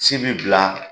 Ci bi bila